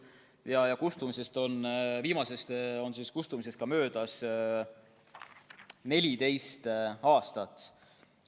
Viimase karistuse kustumisest on möödas 14 aastat.